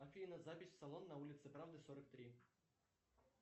афина запись в салон на улице правды сорок три